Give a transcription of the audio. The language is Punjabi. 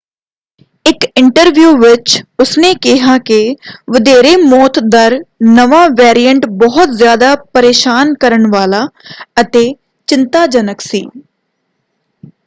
ਇੱਕ ਇੰਟਰਵਿਊ ਵਿੱਚ ਉਸਨੇ ਕਿਹਾ ਕਿ ਵਧੇਰੇ ਮੌਤ ਦਰ ਨਵਾਂ ਵੇਰੀਐਂਟ ਬਹੁਤ ਜ਼ਿਆਦਾ ਪਰੇਸ਼ਾਨ ਕਰਨ ਵਾਲਾ ਅਤੇ ਚਿੰਤਾਜਨਕ ਸੀ।